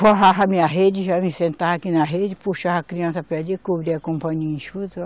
Forrava a minha rede, já me sentava aqui na rede, puxava a criança cobria com um paninho enxuto.